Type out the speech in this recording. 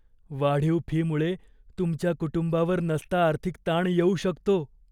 वाढीव फीमुळे तुमच्या कुटुंबावर नसता आर्थिक ताण येऊ शकतो.